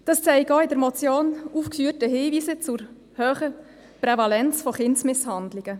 Das zeigen auch in der Motion aufgeführte Hinweise zur hohen Prävalenz von Kindsmisshandlungen.